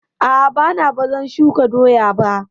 A'a, bana bazan shuka doya ba